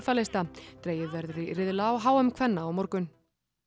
lista dregið verður í riðla á h m kvenna á morgun